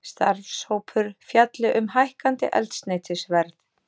Starfshópur fjalli um hækkandi eldsneytisverð